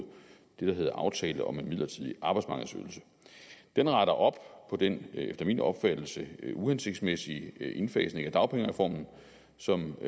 det der hedder aftale om en midlertidig arbejdsmarkedsydelse den retter op på den efter min opfattelse uhensigtsmæssige indfasning af dagpengereformen som